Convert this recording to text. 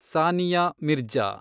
Sania Mirza